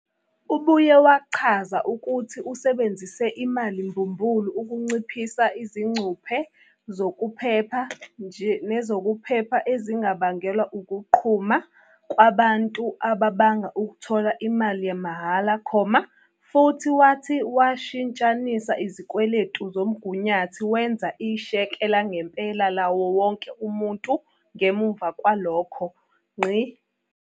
Ubuye wachaza ukuthi usebenzise imali mbumbulu ukunciphisa izingcuphe zokuphepha nezokuphepha ezingabangelwa ukuqhuma kwabantu ababanga ukuthola imali yamahhala, futhi wathi washintshanisa izikweletu zomgunyathi wenza isheke langempela lawo wonke umuntu ngemuva kwalokho.